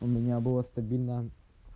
у меня было стабильно